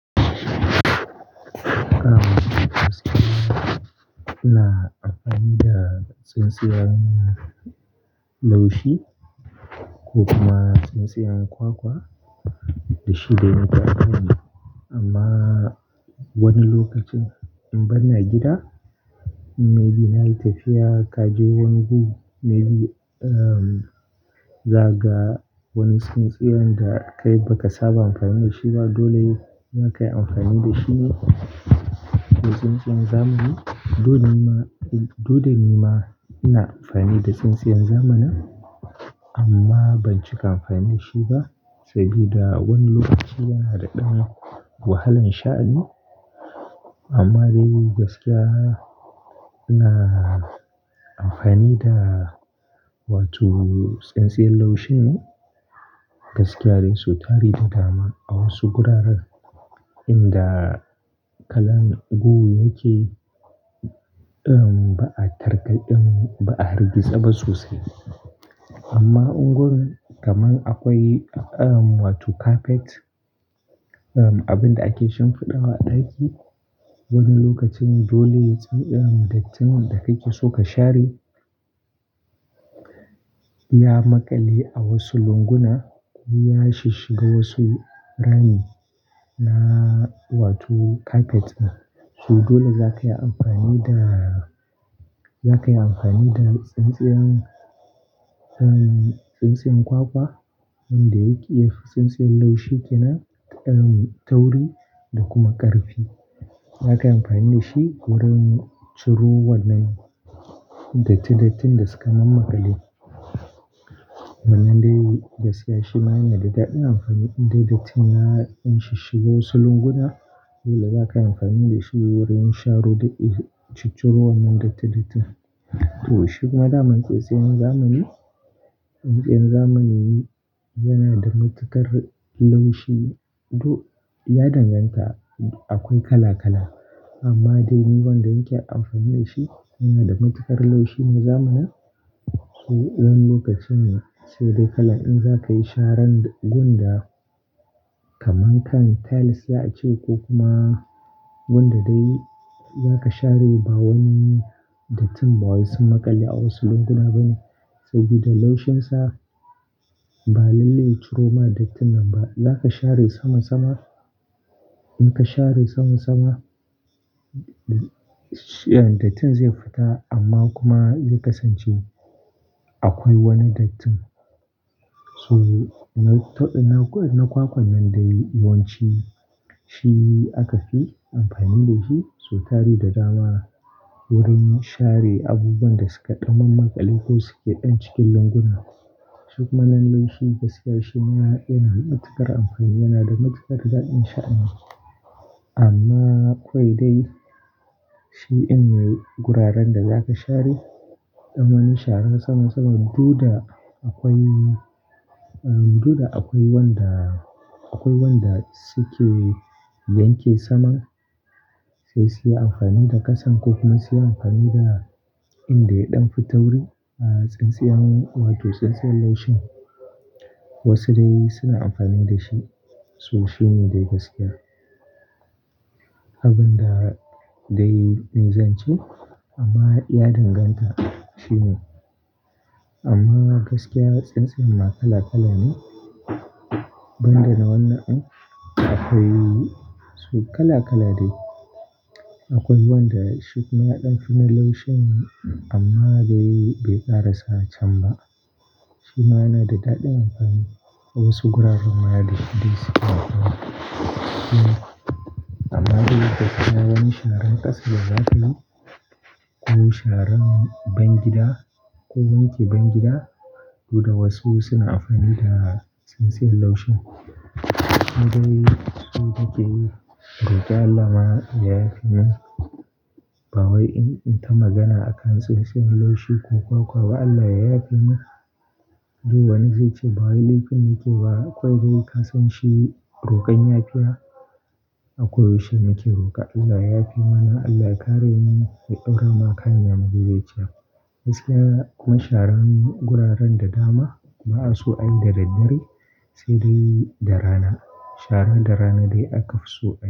A gaskiya ina amfani da tsintsiyar laushi ko kuma tsintsiyar kwakwa da shi dai na zamani. Amma wani lokacin in ban na gida, maybe nayi tafiya ka je wani guri maybe, um, za ka ga wani tsintsiyar da kai ba ka saba amfani da shi ba. Dole za ka yi amfani da shi ne da tsintsiyar zamani. To, dole ma-- dole ni ma ina amfani da tsintsiyar zamani amma ban cika amfani da shi ba saboda wani lokaci yana da ɗan wahalan sha'ani. Amma dai gaskiya ina amfani da wato tsintsiyar laushin ne gaskiya dai su tari da dama a wasu guraren inda kalan gu yake, um, ba a tarkaɗan, ba a harbi tsabba sosai. Amma unguwar kamar akwai, um, wato kafet, abinda ake shimfiɗawa ɗaki. Wani lokacin dole tsin, dattin da kake so ka share ya maƙale a wasu lunguna ko ya shiga wasu rami na wato kafet. To dole za ka yi amfani da, za ka yi amfani da tsintsiyar, tsintsiyar kwakwa wanda yake iya tsintsiyar laushi ke nan, tauri da kuma ƙarfi. Za ka yi amfani da shi wurin ciro wannan datti dattin da suka mammaƙale. Wannan dai gaskiya shi ma yana da daɗin amfani idan dattin ya, in shiga wasu lunguna. Dole za ka yi amfani da shi wurin sharo da, shucuruwan nan dattin dattin. To shuk ma naman tsintsiyar zamani, tsintsiyar zamani yana da matuƙar laushi. To, ya danganta akwai kala kala, amma dai ni wanda nake amfani da shi yana da matuƙar laushi na zamana. To, wani lokacin sai dai kalan in za ka yi sharan gunda kamar kan tiles za a ce ko kuma gunda dai za ka share ba wani dattin ba wai sun maƙale a wasu lunguna ba ne sabida laushinsa ba lalle ya ciro ma dattin nan ba. Da za ka share sama sama, in ka share sama sama, shiyan dattin zai fita amma kuma zai kasance akwai wani dattin. So, na, na, na kwakwan nan dai yawanci shi aka fi amfani da shi su tari da dama wurin share abubuwan da suka ɗan mammaƙale ko suke ɗan cikin lunguna. Shuk ma nan laushi gaskiya shi ma yana da matuƙar amfani, yana da matuƙar daɗin sha'ani. Amma akwai dai shi in guraren da za ka share, ɗan wani sharan sama sama, duda akwai, dole akwai wanda, akwai wanda suke yanke saman sai su yi amfani da kasan ko kuma su yi amfani da inda ya ɗan fi tauri a tsintsiyar wato tsintsiyar laushin. Wasu dai suna amfani da shi. To shi ne dai gaskiya. Abin da dai na yi zance amma ya danganta. Shi ne. Amma gaskiya tsintsiyar ma kala kala ne. Ban da na wannan, akwai su kala kala dai. Akwai wanda shikuma ya ɗan fi na laushin amma dai bai kara sa can ba. Shi ma yana da daɗin amfani a wasu guraren ma dai suke amfani. Amma dai gaskiya wani sharan ƙasa da za ka yi ko sharan ban gida ko wanke ban gida, dole wasu suna amfani da tsintsiyar laushin. Sai dai su da ke roƙe Allah ma ya yafe mu. Ba wai in, in ta magana akan tsintsiyar laushi ko kwakwa ba Allah yayafe mu. To wani zai ce ba wai laifin nake ba akwai dai kasan shi roƙon yafiya akwai shi nake roƙa. Allah yayafe mana, Allah ya kare mu, sai ɗaura ma kanyi ama dai zai ci. Gaskiya kuma sharan guraren da dama ba'a so a yi da daddare, sai dai da rana. Shara da rana dai aka fi so a yi.